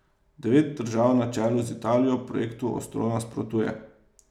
Devet držav na čelu z Italijo projektu ostro nasprotuje.